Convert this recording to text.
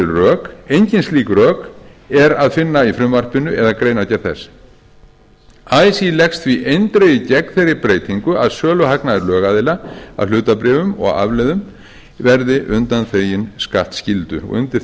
rök engin slík rök er að finna í frumvarpinu eða greinargerð þess así leggst því eindregið gegn þeirri breytingu að söluhagnaður lögaðila af hlutabréfum og afleiðum verði undanþeginn skattskyldu undir